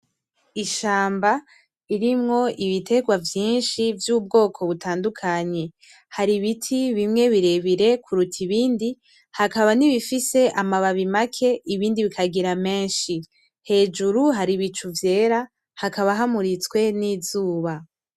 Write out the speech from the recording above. Ishamba irimwo ibiterwa vyinshi vy’ubwoko butandukanye. Hari ibiti bimwe birebire kuruta ibindi, hakaba n’ibifise amababi make ,ibindi bikagira menshi .Hejuru hari ibicu vyera hakaba hamuritswe ni izuba .